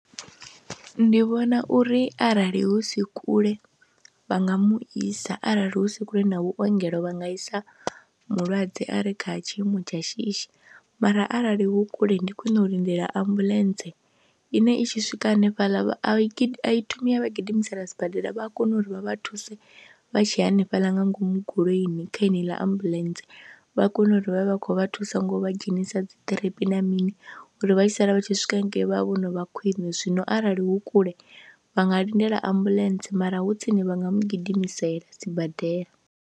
Ndi vhona uri arali hu si kule vha nga mu isa, arali hu si kule na vhuongelo vha nga isa mulwadze a re kha tshiimo tsha shishi mara arali hu kule ndi khwine u lindela ambuḽentse ine i tshi swika hanefhaḽa a i i thomi ya vha gidimisana sibadela, vha a kona uri vha vha thuse vha tshe hanefhaḽa nga ngomu goloini kha yeneiḽa ambuḽentse, vha kone uri vha vhe vha khou vha thusa ngo vha dzhenisa dzi ḓiripi na mini uri vha tshi sala vha tshi swika hangei vha vhe vho no vha khwine. Zwino arali hu kule vha nga lindela ambuḽentse mara hu tsini vha nga mu gidimiseliwa sibadela.